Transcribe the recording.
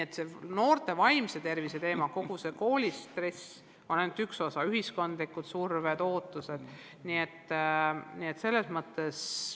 Aga noorte vaimse tervise teema, kogu see koolistress on ainult üks osa muredest, lisaks on veel ühiskondlikud surved, ootused.